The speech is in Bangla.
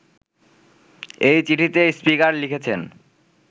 এই চিঠিতে স্পিকার লিখেছেন